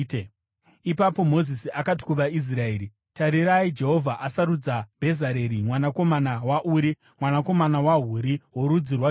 Ipapo Mozisi akati kuvaIsraeri, “Tarirai, Jehovha asarudza Bhezareri mwanakomana waUri, mwanakomana waHuri, worudzi rwaJudha,